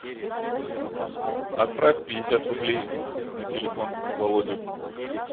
отправь пятьдесят рублей на телефон володи